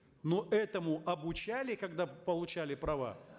ну этому обучали когда получали права